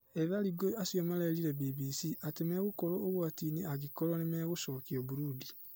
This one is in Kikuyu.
Ethari ngũĩ acio marerire BBC atĩ megũkorwo ũgwatinĩ angĩkorwo nĩmegũcokio Burundi